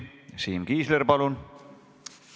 Siim Kiisler, palun!